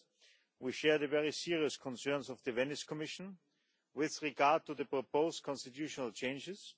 First, we share the very serious concerns of the Venice Commission with regard to the proposed constitutional changes.